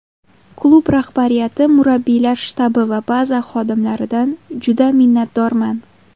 Klub rahbariyati, murabbiylar shtabi va baza xodimlaridan juda minnatdorman.